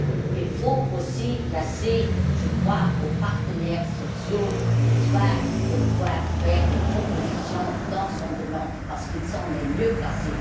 Il faut aussi laisser, je crois, aux partenaires sociaux le soin de faire des propositions dans ce domaine parce qu'ils sont les mieux placés.